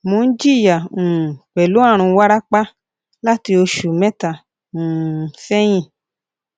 mo n jiya um pẹlu arun warapa lati oṣu mẹta um sẹhin